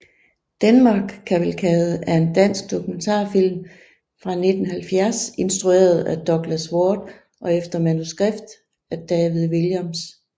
Denmark cavalcade er en dansk dokumentarfilm fra 1970 instrueret af Douglas Warth og efter manuskript af David Williams